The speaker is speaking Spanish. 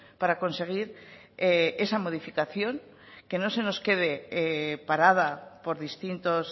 para conseguir esa modificación que no se nos quede parada por distintos